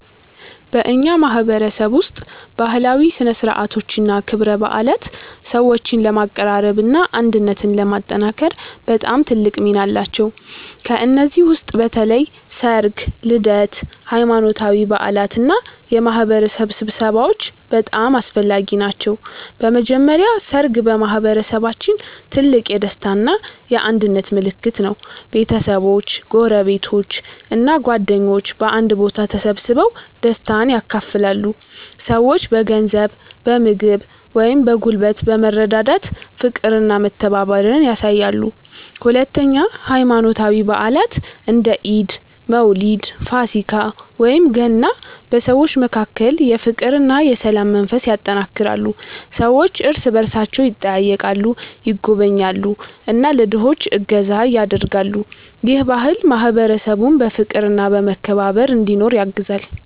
በእኛ ማህበረሰብ ውስጥ ባህላዊ ሥነ ሥርዓቶችና ክብረ በዓላት ሰዎችን ለማቀራረብና አንድነትን ለማጠናከር በጣም ትልቅ ሚና አላቸው። ከእነዚህ ውስጥ በተለይ ሠርግ፣ ልደት፣ ሃይማኖታዊ በዓላት እና የማህበረሰብ ስብሰባዎች በጣም አስፈላጊ ናቸው። በመጀመሪያ ሠርግ በማህበረሰባችን ትልቅ የደስታ እና የአንድነት ምልክት ነው። ቤተሰቦች፣ ጎረቤቶች እና ጓደኞች በአንድ ቦታ ተሰብስበው ደስታን ያካፍላሉ። ሰዎች በገንዘብ፣ በምግብ ወይም በጉልበት በመረዳዳት ፍቅርና መተባበርን ያሳያሉ። ሁለተኛ ሃይማኖታዊ በዓላት እንደ ኢድ፣ መውሊድ፣ ፋሲካ ወይም ገና በሰዎች መካከል የፍቅርና የሰላም መንፈስ ያጠናክራሉ። ሰዎች እርስ በእርሳቸው ይጠያየቃሉ፣ ይጎበኛሉ እና ለድሆች እገዛ ያደርጋሉ። ይህ ባህል ማህበረሰቡን በፍቅርና በመከባበር እንዲኖር ያግዛል።